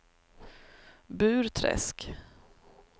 Burträsk